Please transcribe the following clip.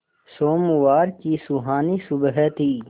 सोमवार की सुहानी सुबह थी